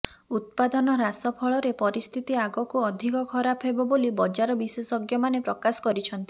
ଉତ୍ପାଦନ ହ୍ରାସ ଫଳରେ ପରିସ୍ଥିତି ଆଗକୁ ଅଧିକ ଖରାପ ହେବ ବୋଲି ବଜାର ବିଶେଷଜ୍ଞମାନେ ପ୍ରକାଶ କରିଛନ୍ତି